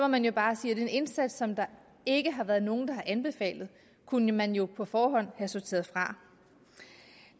man jo bare sige at en indsats som der ikke har været nogen der har anbefalet kunne man jo på forhånd have sorteret fra